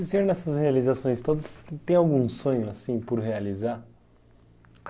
E o senhor, nessas realizações todas, tem algum sonho assim por realizar?